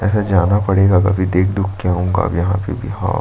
ऐसा जाना पड़ेगा कभी देख- दुःख के आऊंगा अब यहाँ पे भी हाव।